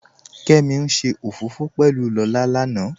Kẹ́mí n ṣẹ ofọfọ̀ pẹ̀lú Lọlá lánà